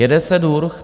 Jede se durch.